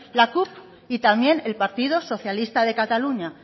la cup y también el partido socialista de cataluña